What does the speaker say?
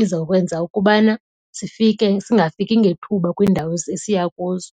izawukwenza ukubana singafiki ngethuba kwiindawo esisiya kuzo.